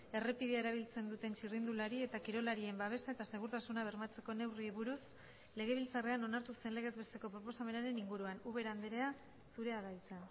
errepidea erabiltzen duten txirrindulari eta kirolarien babesa eta segurtasuna bermatzeko neurriei buruz legebiltzarrean onartu zen legez besteko proposamenaren inguruan ubera andrea zurea da hitza